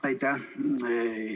Aitäh!